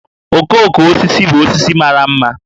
Okooko osisi bụ osisi mara ḿmà